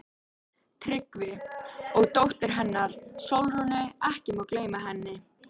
TRYGGVI: Og dóttur hennar, Sólrúnu, ekki má gleyma henni.